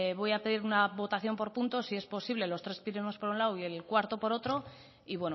voy a pedir una votación por puntos si es posible los tres primeros por un lado y el cuarto por otro y